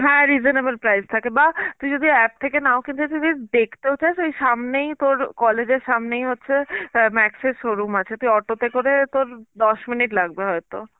হ্যাঁ reasonable price থাকে বা তুই যদি app থেকে নাও কিনতে চাষ যদি দেখতেও যাস ওই সামনে তোর কলেজের সামনেই হচ্ছে অ্যাঁ Max এর showroom আছে, তুই auto তে করে তোর দশ মিনিট লাগবে হয়তো.